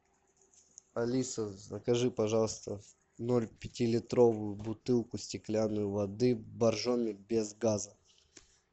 алиса закажи пожалуйста ноль пяти литровую бутылку стеклянную воды боржоми без газа